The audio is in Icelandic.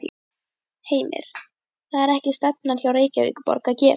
Heimir: Það er ekki stefnan hjá Reykjavíkurborg að gera það?